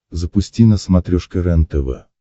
запусти на смотрешке рентв